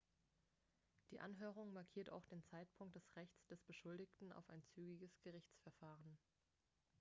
die anhörung markiert auch den zeitpunkt des rechts des beschuldigten auf ein zügiges gerichtsverfahren